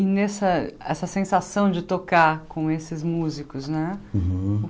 E nessa essa sensação de tocar com esses músicos, né? Uhum